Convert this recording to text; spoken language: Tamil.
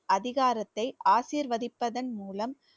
அதிகாரத்தை ஆசிர்வதிப்பதன் மூலம்